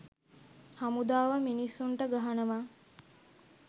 හමුදාව මිනිස්සුන්ට ගහනවා